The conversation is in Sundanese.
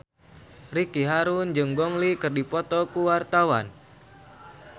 Ricky Harun jeung Gong Li keur dipoto ku wartawan